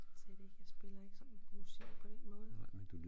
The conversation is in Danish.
Slet ikke jeg spiller ikke sådan musik på den måde